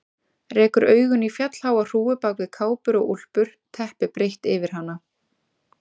Rekur augun í fjallháa hrúgu bak við kápur og úlpur, teppi breitt yfir hana.